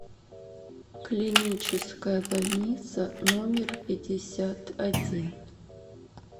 клиническая больница номер пятьдесят один